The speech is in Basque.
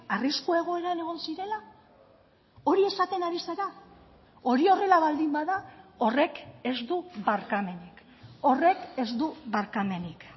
arrisku egoeran egon zirela hori esaten ari zara hori horrela baldin bada horrek ez du barkamenik horrek ez du barkamenik